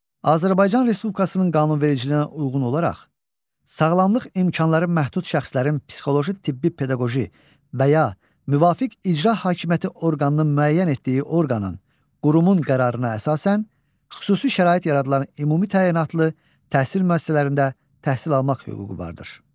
Azərbaycan Respublikasının qanunvericiliyinə uyğun olaraq, sağlamlıq imkanları məhdud şəxslərin psixoloji tibbi pedaqoji və ya müvafiq icra hakimiyyəti orqanının müəyyən etdiyi orqanın, qurumun qərarına əsasən xüsusi şərait yaradılan ümumi təyinatlı təhsil müəssisələrində təhsil almaq hüququ vardır.